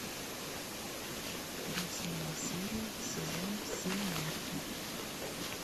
восьмая серия сезон семь нарко